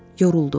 Yoruldu.